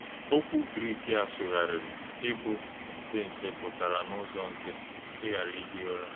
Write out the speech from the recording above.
Òkwú Grik a sụ̀gharịrị íbụ̀ ‘na - èchè̄ nche,’ pụtara n’ụ́zọ nkítì, “ị̀ghárà íhí ụ̀rà.”